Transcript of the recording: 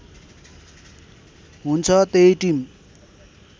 हुन्छ त्यही टिम